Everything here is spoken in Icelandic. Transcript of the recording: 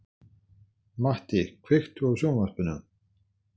Matti, kveiktu á sjónvarpinu.